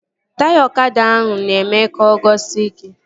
Taya ọkada ahụ na-eme ka o guzosie ike